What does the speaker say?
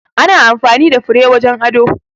Ana amfani da fure wajen ado.